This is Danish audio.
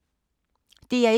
DR1